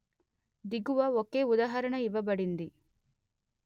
దిగువ ఒకే ఉదాహరణ ఇవ్వబడింది